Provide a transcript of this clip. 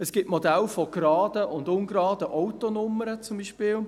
Es gibt Modelle von geraden und ungeraden Autonummern beispielsweise.